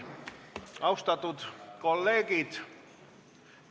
Austatud kolleegid!